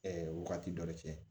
wagati dɔ de kɛ